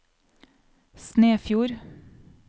Snefjord